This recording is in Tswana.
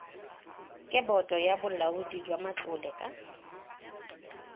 ke boto ya bolaodijwamatlole ka